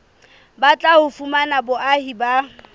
batlang ho fumana boahi ba